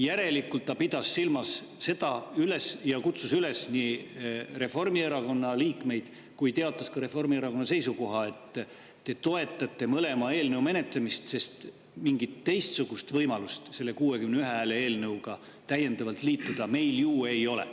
Järelikult ta pidas silmas seda, kutsus üles Reformierakonna liikmeid ja ka teatas Reformierakonna seisukoha, et nad toetavad mõlema eelnõu menetlemist, sest mingit teistsugust võimalust meil selle 61 eelnõuga liituda täiendavalt ju ei ole.